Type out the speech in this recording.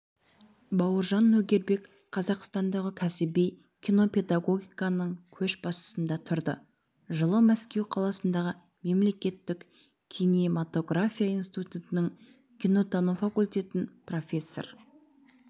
бауыржан нөгербек қазақстандағы кәсіби кинопедагогиканың көшбасында тұрды жылы мәскеу қаласындағы мемлекеттік кинематография институтының кинотану факультетін профессор